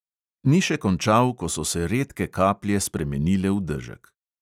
Ni še končal, ko so se redke kaplje spremenile v dežek.